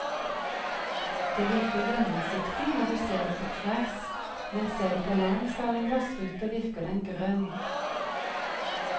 Det virker gjennomsiktig når du ser det på tvers, men ser du på langs av en glassrute virker den grønn.